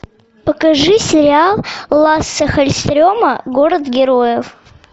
покажи сериал лассе халльстрема город героев